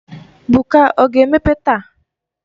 Buka ọ ga-emepe taa?